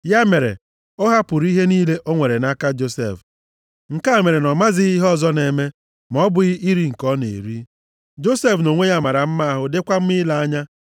Ya mere, ọ hapụrụ ihe niile o nwere nʼaka Josef. Nke a mere na ọ mazighị ihe ọzọ na-eme, ma ọ bụghị nri nke ọ na-eri. + 39:6 Usoro iri nri ndị Ijipt dị iche site na nke ndị Juu, nʼihi ụzọ esi akwado ha tupu e rie ha. \+xt Jen 43:32\+xt* Josef nʼonwe ya mara mma ahụ dịkwa mma ile anya.